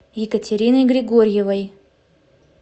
екатериной григорьевой